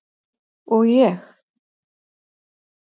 Og ég?